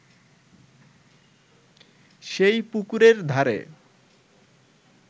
সেই পুকুরের ধারে